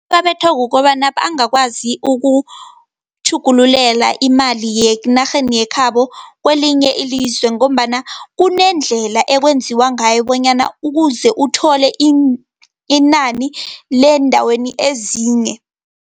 Babethwa kukobana bangakwazi ukutjhugululela imali yenarheni yekhabo kelinye ilizwe, ngombana kunendlela ekwenziwa ngayo bonyana ukuze uthole inani leendaweni ezinye.